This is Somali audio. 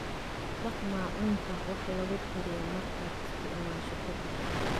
Dhaq maacuunta wax lagu kariyo markaad isticmaasho ka dib.